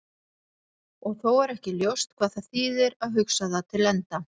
Og þó er ekki ljóst hvað það þýðir að hugsa það til enda.